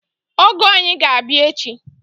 Ọgọ anyị ga-abịa echi